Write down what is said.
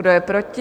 Kdo je proti?